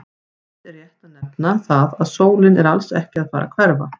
Fyrst er rétt að nefna það að sólin er alls ekki að fara að hverfa!